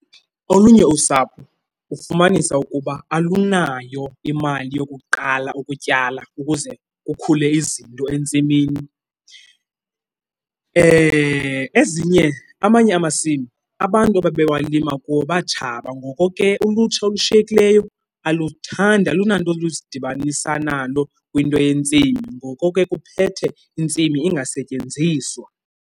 Olunye usapho ufumanisa ukuba alunayo imali yokuqala ukutyala ukuze kukhule izinto entsimini. Ezinye, amanye amasimi abantu ababewalima kuwo batshaba ngoko ke ulutsha olushiyekileyo aluthandi, alunanto lusidibanisa nalo kwinto yentsimi. Ngoko ke kuphethe intsimi ingasetyenziswa.